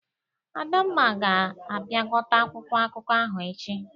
Adanma ga-apịakọta akwụkwọ akụkọ ahụ echi.